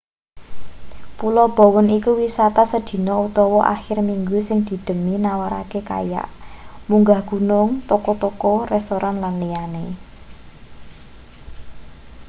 pulo bowen iku wisata sedina utawa akhir minggu sing didhemeni nawarake kayak munggah gunung toko-toko restoran lan liyane